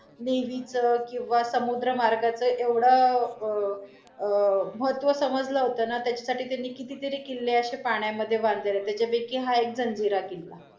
देवीच किंवा समुद्र मार्गाच एवढं अं महत्व समजल होत ना, त्याच्यासाठी त्यांनी कितीतरी किल्ले अशे पाण्यामधे बांधलेले त्यांच्यापैकी हा एक जंजिरा किल्ला.